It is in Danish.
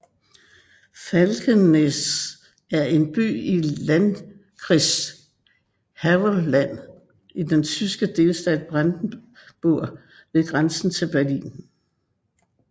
Falkensee er en by i landkreis Havelland i den tyske delstat Brandenburg ved grænsen til Berlin